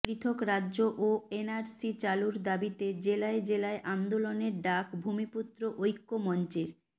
পৃথক রাজ্য ও এনআরসি চালুর দাবিতে জেলায় জেলায় আন্দোলনের ডাক ভূমিপুত্র ঐক্য মঞ্চের